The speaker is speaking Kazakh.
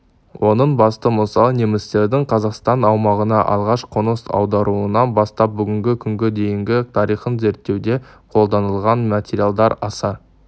оның басты мысалы немістердің қазақстан аумағына алғаш қоныс аударуынан бастап бүгінгі күнге дейінгі тарихын зерттеуде қолданылған материалдар аса